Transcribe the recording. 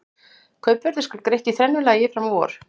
Kaupverðið skal greitt í þrennu lagi fram á vor.